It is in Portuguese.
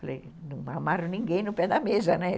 Falei, não amaram ninguém no pé da mesa, né?